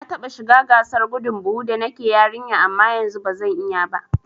Na taɓa shiga gasar gudun buhu da nake yarinya amma yanzu bazan iya ba